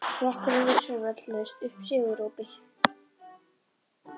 Flokkurinn við Sauðafell laust upp sigurópi.